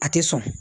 A tɛ sɔn